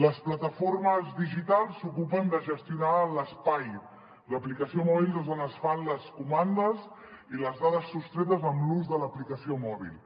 les plataformes digitals s’ocupen de gestionar l’espai l’aplicació mòbil des d’on es fan les comandes i les dades sostretes amb l’ús de l’aplicació mòbil